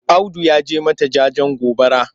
Audu ya je mata jajen gobara.